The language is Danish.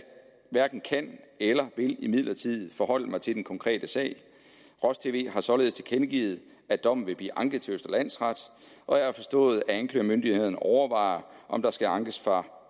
hverken kan eller vil forholde mig til den konkrete sag roj tv har således tilkendegivet at dommen vil blive anket til østre landsret og jeg har forstået at anklagemyndigheden overvejer om der skal ankes fra